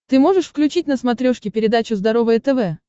ты можешь включить на смотрешке передачу здоровое тв